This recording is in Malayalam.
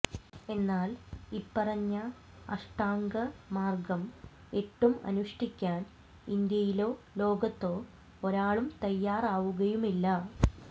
എന്നാൽ ഇപ്പറഞ്ഞ അഷ്ഠാംഗമാർഗ്ഗം എട്ടും അനുഷ്ഠിക്കാൻ ഇന്ത്യയിലോ ലോകത്തോ ഒരാളും തയ്യാറാവുകയുമില്ല